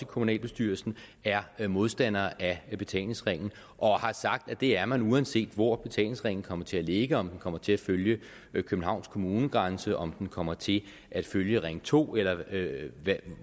kommunalbestyrelsen er modstandere af betalingsringen og har sagt at det er man uanset hvor betalingsringen kommer til at ligge om den kommer til at følge københavns kommunegrænse om den kommer til at følge ring to eller